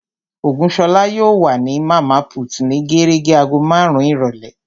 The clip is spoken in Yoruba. Ògúnṣọlá yóò wà ní Màmá put ní gérégé agogo marun-un ìrọ̀lẹ́